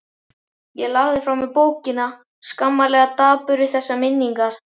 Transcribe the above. Ég lagði frá mér bókina, skammarlega dapur við þessar minningar.